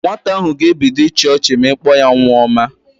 Nwata ahụ ga-ebido ibe ịchị ọchị ma ị kpọ ya nwa ọma